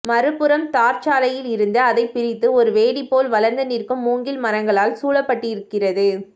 மறுபுறம் தார்ச்சாலையிலிருந்து அதைப் பிரித்து ஒரு வேலி போல் வளர்ந்து நிற்கும் மூங்கில் மரங்களால் சூழப்பட்டிருக்கிறது